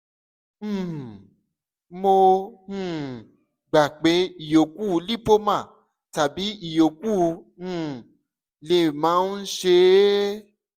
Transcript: um mo um gbà pé ìyókù lipoma tàbí ìyókù um lè máa ń ṣe ẹ́